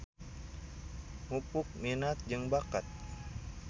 Mupuk minat jeung bakat.